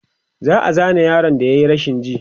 an Zane yaron da yayi rashin ji